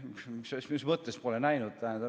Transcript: Mina: mis mõttes pole näinud?